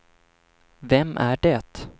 vem är det